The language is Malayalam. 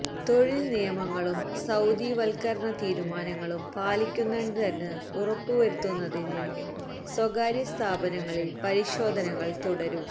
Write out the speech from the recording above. തൊഴിൽ നിയമങ്ങളും സൌദിവൽക്കരണ തീരുമാനങ്ങളും പാലിക്കുന്നുണ്ടെന്ന് ഉറപ്പു വരുത്തുന്നതിന് സ്വകാര്യ സ്ഥാപനങ്ങളിൽ പരിശോധനകൾ തുടരും